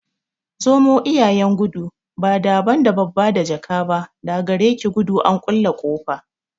Zomo iyayen gudu, ba don da babba da jaka ba, da gare ki gudu an kulle ƙofa.